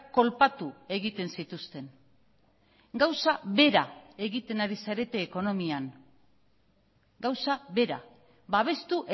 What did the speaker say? kolpatu egiten zituzten gauza bera egiten ari zarete ekonomian gauza bera babestu